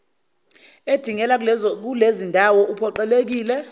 edingela kulezindawo uphoqelekile